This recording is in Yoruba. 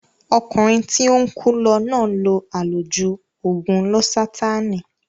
Ọkùnrin tí ó ń kú lọ náà lo àlòjù ògùn lósátáànì